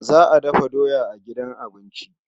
Za a dafa doya a gidan abinci.